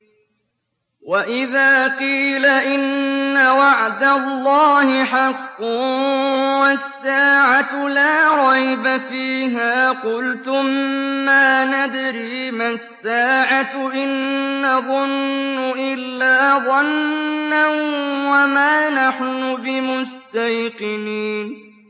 وَإِذَا قِيلَ إِنَّ وَعْدَ اللَّهِ حَقٌّ وَالسَّاعَةُ لَا رَيْبَ فِيهَا قُلْتُم مَّا نَدْرِي مَا السَّاعَةُ إِن نَّظُنُّ إِلَّا ظَنًّا وَمَا نَحْنُ بِمُسْتَيْقِنِينَ